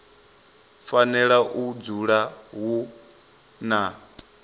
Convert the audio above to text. fanela u dzula hu na